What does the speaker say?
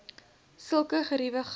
sulke geriewe glad